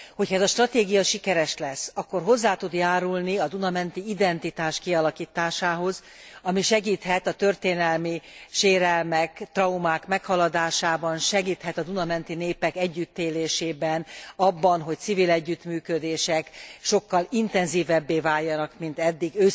Hogyha ez a stratégia sikeres lesz, akkor hozzá tud járulni a Duna menti identitás kialakításához, ami segíthet a történelmi sérelmek, traumák maghaladásában, segíthet a Duna menti népek együttélésében, abban, hogy a civil együttműködések sokkal intenzívebbé váljanak, mint eddig.